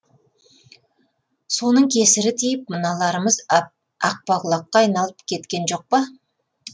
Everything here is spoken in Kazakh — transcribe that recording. соның кесірі тиіп мыналарымыз ақпақұлаққа айналып кеткен жоқ па